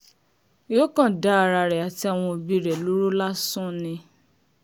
yóò kàn dá ara rẹ̀ àti àwọn ẹbí rẹ̀ lóró lásán ni